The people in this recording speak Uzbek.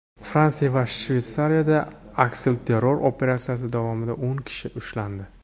Fransiya va Shveysariyada aksilterror operatsiyasi davomida o‘n kishi ushlandi.